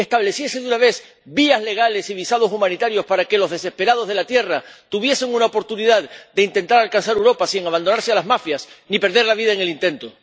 y que estableciese, de una vez, vías legales y visados humanitarios para que los desesperados de la Tierra tuviesen una oportunidad de intentar alcanzar Europa sin abandonarse a las mafias ni perder la vida en el intento.